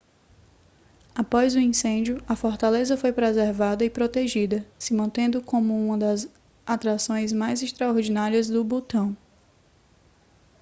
após o incêndio a fortaleza foi preservada e protegida se mantendo como uma das atrações mais extraordinárias do butão